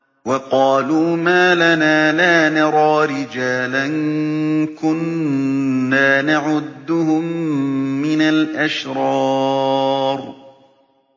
وَقَالُوا مَا لَنَا لَا نَرَىٰ رِجَالًا كُنَّا نَعُدُّهُم مِّنَ الْأَشْرَارِ